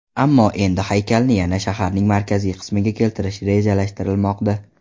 Ammo endi haykalni yana shaharning markaziy qismiga keltirish rejalashtirilmoqda.